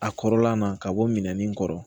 A kɔrɔla na ka bɔ minɛnin kɔrɔ